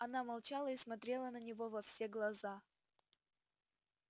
она молчала и смотрела на него во все глаза